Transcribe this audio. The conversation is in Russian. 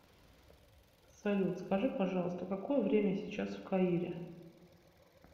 салют скажи пожалуйста какое время сейчас в каире